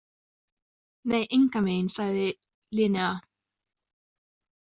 Nei, engan veginn, sagði Linnea.